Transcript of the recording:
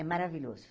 É maravilhoso.